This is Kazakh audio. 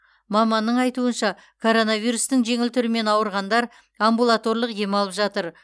маманның айтуынша коронавирустың жеңіл түрімен ауырғандар амбулаторлық ем алып жатыр